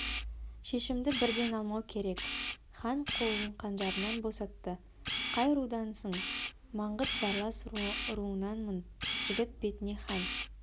шешімді бірден алмау керек хан қолын қанжарынан босатты қай рудансың маңғыт барлас руынанмын жігіт бетіне хан